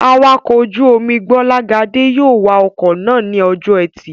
Awakọ̀ ojú-omi Gbọ́lágadé yóò wa ọkọ̀ náà ní ọjọ́ ẹtì